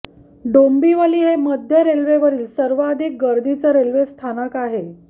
डोंबिवली हे मध्य रेल्वेवरील सर्वाधिक गर्दीचं रेल्वे स्थानक आहे